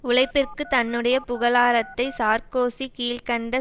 உழைப்பிற்கு தன்னுடைய புகழாரத்தை சார்க்கோசி கீழ் கண்ட